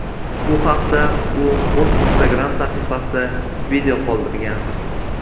Bu haqda u o‘z Instagram sahifasida video qoldirgan .